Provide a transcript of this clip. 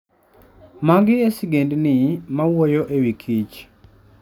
Magi e sigendni ma wuoyo e wi kich .